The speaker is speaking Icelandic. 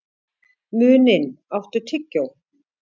Muninn, áttu tyggjó?